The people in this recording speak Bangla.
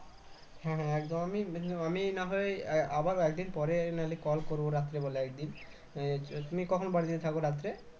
হ্যাঁ হ্যাঁ একদম আমি আহ না হয় আবার একদিন পরে না হলে call করবো রাত্রি বেলা একদিন তুমি কখন বাড়িতে থাকবে রাত্রে